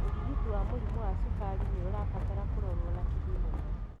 ũrigiti wa mũrimũ wa cukari nĩ ũrabatara kũrorwo na kinyi mũno.